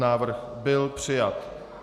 Návrh byl přijat.